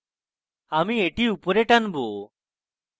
আমি এখানে একটু অধিক জায়গা চাই আমি এটি উপরে টানবো